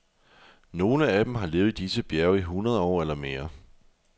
Nogle af dem har levet i disse bjerge i hundrede år eller mere.